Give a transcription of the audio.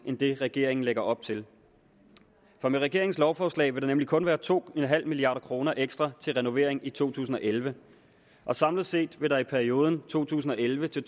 end det regeringen lægger op til for med regeringens lovforslag vil der nemlig kun være to milliard kroner ekstra til renovering i to tusind og elleve og samlet set vil der for perioden to tusind og elleve til